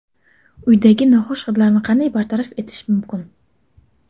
Uydagi noxush hidlarni qanday bartaraf etish mumkin?.